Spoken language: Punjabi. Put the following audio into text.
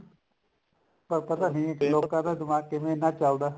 ਪਰ ਪਤਾ ਨੀ ਕਿ ਲੋਕਾ ਦਾ ਦਿਮਾਗ ਕਿਵੇਂ ਇੰਨਾ ਚੱਲਦਾ